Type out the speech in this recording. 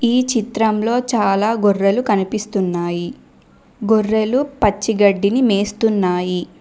ఈ చిత్రంలో చాలా గొర్రెలు కనిపిస్తున్నాయి గొర్రెలు పచ్చిగడ్డి ని మేస్తున్నాయి.